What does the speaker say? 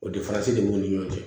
O difaransi de b'u ni ɲɔgɔn cɛ